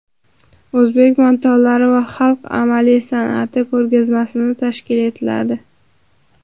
O‘zbek matolari va xalq amaliy san’ati ko‘rgazmasi tashkil etiladi.